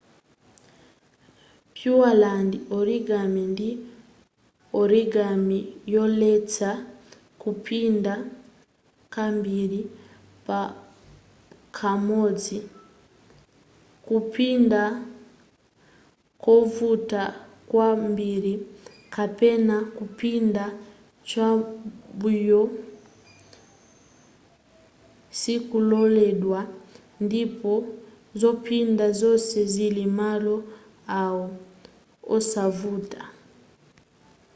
pureland origami ndi origami yoletsa kupinda kambiri pakamodzi kupinda kovuta kwambiri kapena kupinda cham'mbuyo sikololedwa ndipo zopinda zonse zili malo awo osavuta